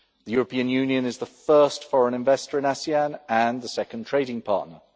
The European Union is the first foreign investor in ASEAN and the second trading partner.